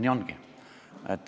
Nii ongi.